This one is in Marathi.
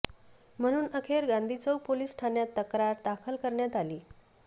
म्हणून अखेर गांधी चौक पोलीस ठाण्यात तक्रार दाखल करण्यात आली